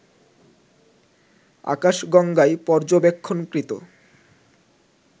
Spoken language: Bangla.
আকাশগঙ্গায় পর্যবেক্ষণকৃত